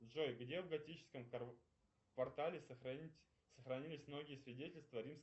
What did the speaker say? джой где в готическом квартале сохранились многие свидетельства